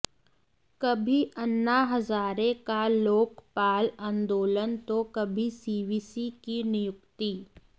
कभी अन्ना हजारे का लोकपाल आंदोलन तो कभी सीवीसी की नियुक्ति